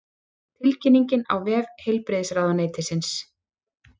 Tilkynningin á vef heilbrigðisráðuneytisins